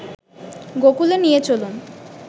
গোকূলে নিয়ে চলুন